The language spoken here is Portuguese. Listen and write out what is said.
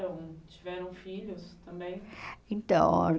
Então, tiveram filhos também? Então